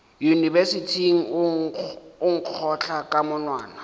yunibesithing o nkgotla ka monwana